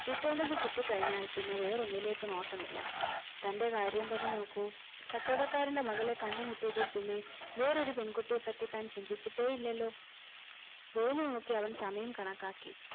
കിട്ടേണ്ടത് കിട്ടിക്കഴിഞ്ഞാൽ പിന്നെ വേറെ ഒന്നിലേക് നോട്ടമില്ല തന്റെ കാര്യം തന്നെ നോക്കു കച്ചവടക്കാരന്റെ മകളെ കണ്ടുമുട്ടിയതിൽ പിന്നെ വേറെ ഒരു പെൺകുട്ടിയെ പറ്റി താൻ ചിന്തിച്ചിട്ടേ ഇല്ലെല്ലൊ വെയിൽ നോക്കി അവൻ സമയം കണക്കാക്കി